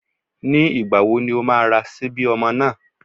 Ní ìgbà wo ni o má a ra síbí ọmọ náà?